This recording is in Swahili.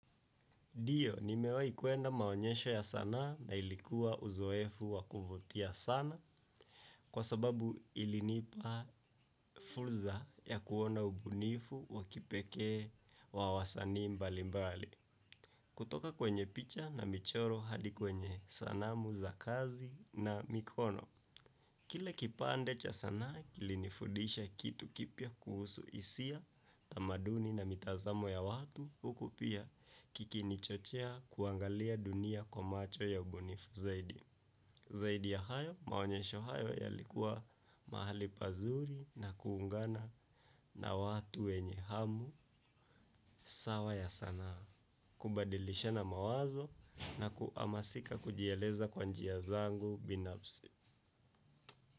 Dio, nimewahi kuenda maonyesho ya sanaa na ilikuwa uzoefu wa kuvutia sana, kwa sababu ilinipa fulza ya kuona ubunifu wa kipekee wa wasanii mbali mbali. Kutoka kwenye picha na michoro hadi kwenye sanamu za kazi na mikono. Kile kipande cha sanaa, kilinifudisha kitu kipya kuhusu isia, tamaduni na mitazamo ya watu huku pia kikinichochea kuangalia dunia kwa macho ya ubunifu zaidi. Zaidi ya hayo, maonyesho hayo yalikuwa mahali pazuri na kuungana na watu wenye hamu sawa ya sanaa, kubadilishana mawazo na kuamasika kujieleza kwa njia zangu binafsi.